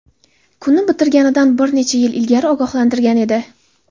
kuni bitganidan bir necha yil ilgari ogohlantirgan edi.